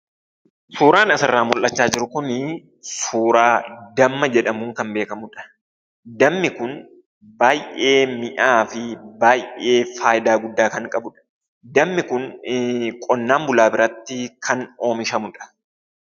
Suuraan asirraa mul'achaa jiru kunii suuraa damma jedhamuun kan beekamudha. Dammi kun baay'ee mi'aawaa fi baay'ee faayidaa guddaa kan qabudha. Dammi kun qonnaan bulaa birattii kan oomishamudha.